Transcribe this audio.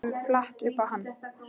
Þetta kemur flatt upp á hann.